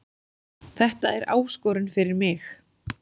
Þetta er áskorun fyrir mig